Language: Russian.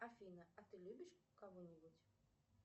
афина а ты любишь кого нибудь